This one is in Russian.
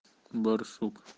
барсук